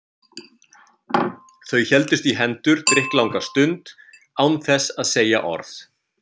Þau héldust í hendur drykklanga stund án þess að segja orð.